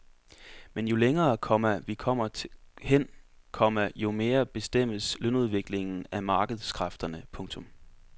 Men jo længere, komma vi kommer hen, komma jo mere bestemmes lønudviklingen af markedskræfterne. punktum